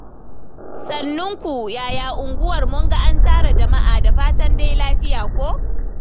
Sannunku. Yaya unguwar? Mun ga an tara jama’a. Da fatan dai lafiya ko?